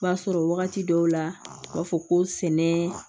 B'a sɔrɔ wagati dɔw la u b'a fɔ ko sɛnɛ